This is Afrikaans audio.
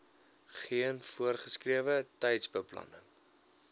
geen voorgeskrewe tydsbepaling